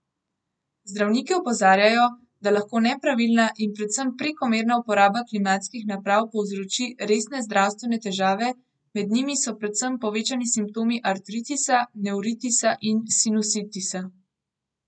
Zdravniki opozarjajo, da lahko nepravilna in predvsem prekomerna uporaba klimatskih naprav povzroči resne zdravstvene težave, med njimi so predvsem povečani simptomi artritisa, nevritisa in sinusitisa.